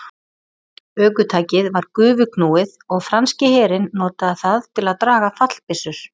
Ökutækið var gufuknúið og franski herinn notaði það til að draga fallbyssur.